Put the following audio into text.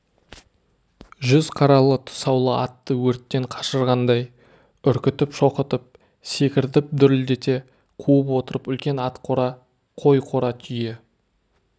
жүз қаралы тұсаулы атты өрттен қашырғандай үркітіп шоқытып секіртіп дүрілдете қуып отырып үлкен ат қора қой қора түйе